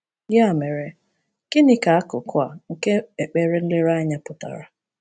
Ya mere, gịnị ka akụkụ a nke ekpere nlereanya pụtara?